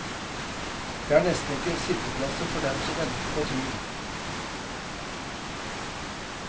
Det er nesten ikke sitteplasser for dem som venter på tur.